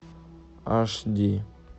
аш ди